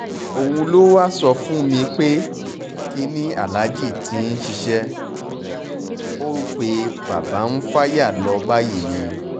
òun ló wáá sọ fún mi pé kinní aláàjì ti ṣiṣẹ́ o pe bàbá ń fàyà lọ báyìí ni